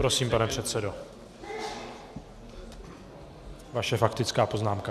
Prosím, pane předsedo, vaše faktická poznámka.